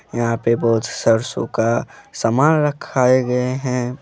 यहां पे बहोत सरसों का सामान रखाए गए हैं।